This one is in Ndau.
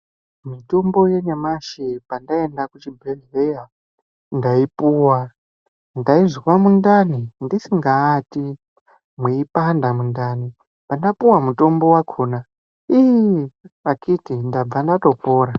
Mutombo yenyamashi pandaenda kuchibhedhleya ndaipuwa. Ndaizwa mundani ndisingaati, mweipanda mundani. Pandapuwa mutombo wakona iiii akiti ndabva ndatopona.